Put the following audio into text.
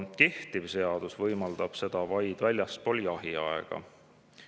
Kehtiv seadus võimaldab seda vaid väljaspool jahiaega.